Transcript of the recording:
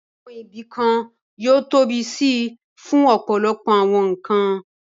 Àwọn ibìkan yóò tóbi síi fún ọ̀pọ̀lọpọ̀ àwọn nǹkan